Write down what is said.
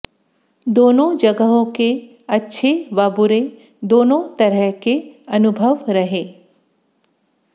दोनों जगहों के अच्छे व बुरे दोनों तरह के अनुभव रहे